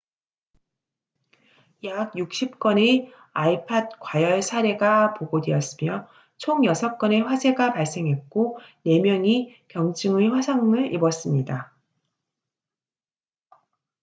약 60건의 ipod 과열 사례가 보고되었으며 총 6건의 화재가 발생했고 4명이 경증의 화상을 입었습니다